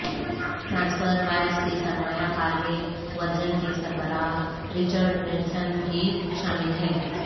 transfer wise کے سرمایہ کار میں ورجن کے سربراہ رچرڈ برینسن بھی شامل ہیں